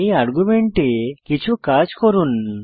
এই আর্গুমেন্টে কিছু কাজ করুন